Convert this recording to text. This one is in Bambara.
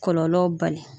Kɔlɔlɔw bali